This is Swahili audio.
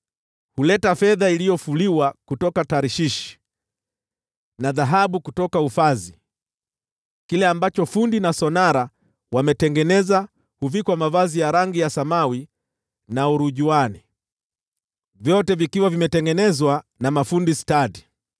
Huleta fedha iliyofuliwa kutoka Tarshishi na dhahabu kutoka Ufazi. Kile ambacho fundi na sonara wametengeneza huvikwa mavazi ya rangi ya samawi na urujuani: vyote vikiwa vimetengenezwa na mafundi stadi.